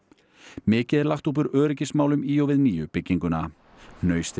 mikið er lagt upp úr öryggismálum í og við nýju bygginguna